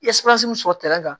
min sɔrɔ tɛrɛn kan